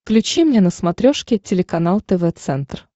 включи мне на смотрешке телеканал тв центр